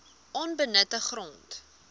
onbenutte grond